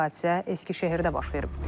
Hadisə Əskişəhərdə baş verib.